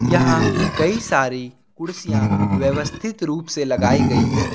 यहां कई सारी कुर्सियां व्यवस्थित रूप से लगाई गई हैं।